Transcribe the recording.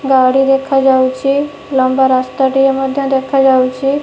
ଗାଡ଼ି ଦେଖା ଯାଉଚି। ଲମ୍ବା ରାସ୍ତାଟିଏ ମଧ୍ୟ ଦେଖା ଯାଉଚି।